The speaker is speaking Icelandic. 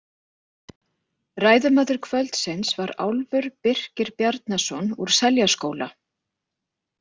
Ræðumaður kvöldsins var Álfur Birkir Bjarnason úr Seljaskóla.